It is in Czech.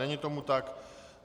Není tomu tak.